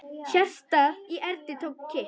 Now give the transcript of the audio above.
Hjartað í Erni tók kipp.